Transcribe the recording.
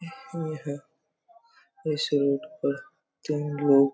यहाँ इस रोड पर तीन लोग--